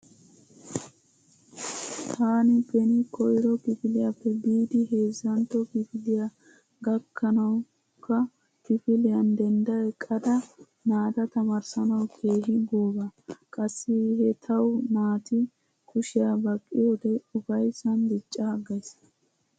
Taani beni koyro kifiliyappe biidi heezantto kifiliya gakkawukka kifiliyan dendda eqqada naata tamaarissuwau keehi gooba. Qassi he tawu naati kushiya baqqiyode ufayssan diccaaggays.